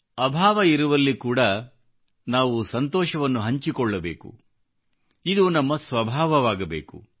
ಅಭಾವ ಇರುವಲ್ಲಿ ಕೂಡಾ ನಾವು ಸಂತೋಷವನ್ನು ಹಂಚಿಕೊಳ್ಳಬೇಕು ಇದು ನಮ್ಮ ಸ್ವಭಾವವಾಗಬೇಕು